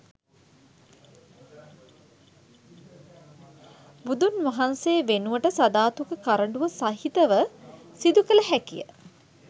බුදුන් වහන්සේ වෙනුවට සධාතුක කරඬුව සහිතව සිදුකළ හැකිය